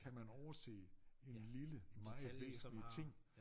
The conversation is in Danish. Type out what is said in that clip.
Kan man overset en lille meget væsentlig ting